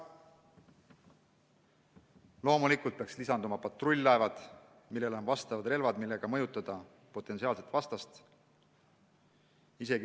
Loomulikult peaks lisanduma patrull-laevad, millel on relvad, millega mõjutada potentsiaalset vastast.